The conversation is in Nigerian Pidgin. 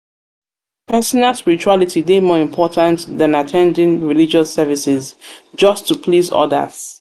personal spirituality dey more important than at ten ding um religious services just to please odas. to please odas. um